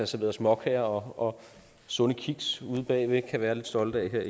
serveret småkager og sunde kiks ude bagved kan være lidt stolte af her